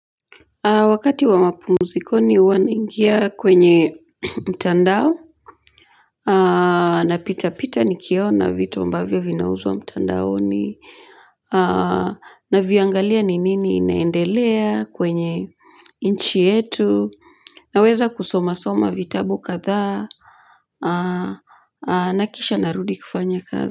Wakati wa mapumzikoni huwa naingia kwenye mtandao napita pita nikiona vitu ambavyo vinauzwa mtandaoni naviangalia ni nini inaendelea kwenye nchi yetu naweza kusomasoma vitabu kadhaa na kisha narudi kufanya kazi.